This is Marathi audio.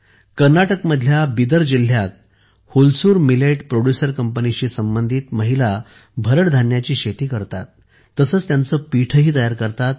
कर्नाटकमधल्या बिदर जिल्ह्यात हुलसूर मिलेट प्रोड्युसर कंपनीशी संबंधित महिला भरड धान्याची शेती करतात तसेच त्यांचे पीठही तयार करतात